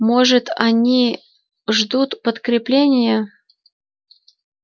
может они ждут подкрепления